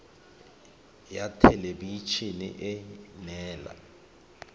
ya thelebi ene e neela